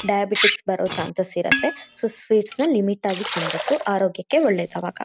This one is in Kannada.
ಬೇಕ್ರಿಯಲ್ಲಿ ತುಂಬಾ ವೆರೈಟಿ ಆಗಿರೊ ಅಂತ ಸ್ವೀಟ್ಸ್ಗ ಗಳ್ ಸಿಗತ್ತೆ.